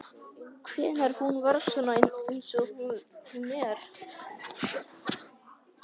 Hvenær hún varð svona eins og hún er.